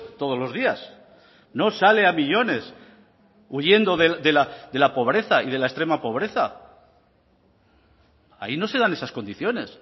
todos los días no sale a millónes huyendo de la pobreza y de la extrema pobreza ahí no se dan esas condiciones